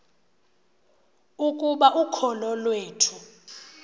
ukuba ukholo iwethu